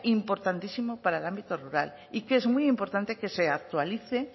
importantísima para el ámbito rural y que es muy importante que se actualice